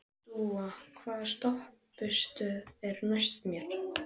Dúa, hvaða stoppistöð er næst mér?